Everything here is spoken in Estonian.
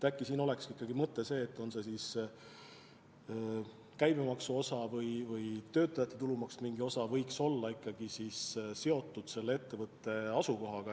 Äkki aitaks ikkagi see, kui käibemaksu või töötajate tulumaksu mingi osa oleks seotud konkreetse ettevõtte asukohaga.